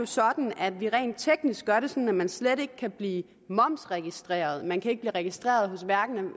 sådan at vi rent teknisk gør det sådan at man slet ikke kan blive momsregistreret man kan hverken blive registreret